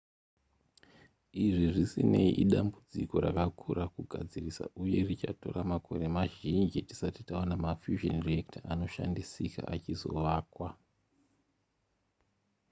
izvi zvisinei idambudziko rakakura kugadzirisa uye richatora makore mazhinji tisati taona mafusion reactor anoshandisika achizovakwa